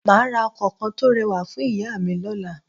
Mà á ra ọkọ̀ kan tó rẹwà fún ìyá à mi lọ́la